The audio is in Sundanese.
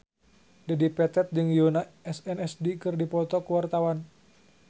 Dedi Petet jeung Yoona SNSD keur dipoto ku wartawan